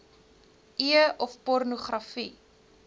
e of pornogra